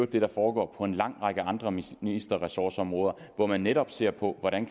det der foregår på en lang række andre ministerressortområder hvor man netop ser på hvordan